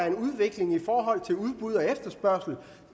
en udvikling i forhold til udbud og efterspørgsel